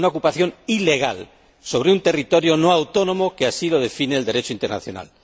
una ocupación ilegal sobre un territorio no autónomo, como lo define el Derecho internacional.